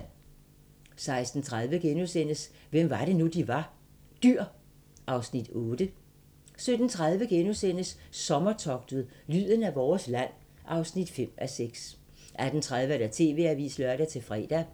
16:30: Hvem var det nu, vi var? - Dyr (Afs. 8)* 17:30: Sommertogtet – lyden af vores land (5:6)* 18:30: TV-avisen (lør-fre)